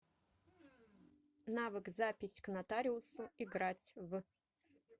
навык запись к нотариусу играть в